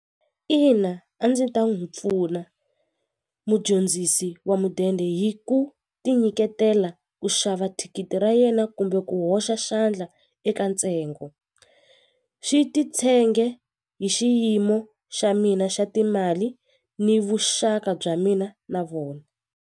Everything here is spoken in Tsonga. Ina a ndzi ta n'wi pfuna mudyondzisi wa mudende hi ku ti nyiketela ku xava thikithi ra yena kumbe ku hoxa xandla eka ntsengo swi titshenge hi xiyimo xa mina xa timali ni vuxaka bya mina na vona.